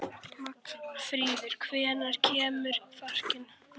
Magnfríður, hvenær kemur fjarkinn?